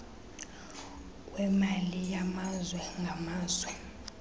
kwemali yamazwe ngamazwe